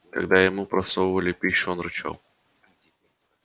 когда ему просовывали пищу он рычал